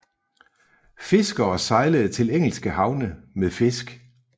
Fiskere sejler til engelske havne med fisk